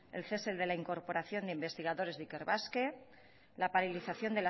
el cese de la incorporación de investigadores de ikerbasque la paralización